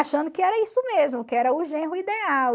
Achando que era isso mesmo, que era o genro ideal.